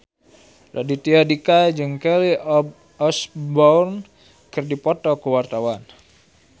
Raditya Dika jeung Kelly Osbourne keur dipoto ku wartawan